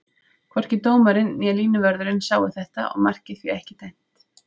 Hvorki dómarinn né línuvörðurinn sáu þetta og markið því ekki dæmt.